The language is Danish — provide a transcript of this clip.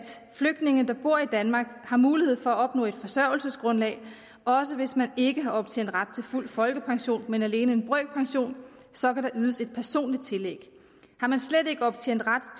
flygtninge der bor i danmark har mulighed for at opnå et forsørgelsesgrundlag også hvis man ikke har optjent ret til fuld folkepension men alene en brøkpension så vil der ydes et personligt tillæg har man slet ikke optjent ret